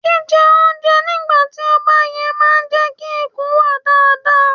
Jí jẹ oúnjẹ nígbà tí ó bá yẹ máa jẹ́ kí ikùn wà dáadáa.